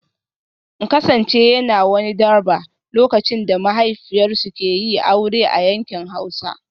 In kasance yana wani 'Durbar' lokacin da mahaifiyar suke yi aure a yankin Hausa